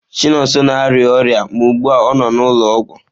Chinonso na-arịa ọrịa ma ugbu a ọ nọ n'ụlọọgwụ.